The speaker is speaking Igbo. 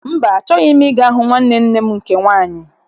Mba, achọghị m ịga hụ nwanne nne m nke nwaanyị.